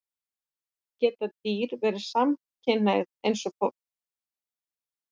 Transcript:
Geta dýr verið samkynhneigð, eins og fólk?